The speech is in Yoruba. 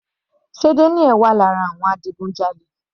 Sé Daniel wà lára àwọn adigunjalè?